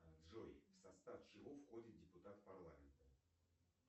джой в состав чего входит депутат парламента